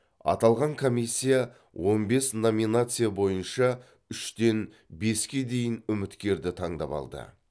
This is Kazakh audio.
аталған комиссия он бес номинация бойынша үштен беске дейін үміткерді таңдап алды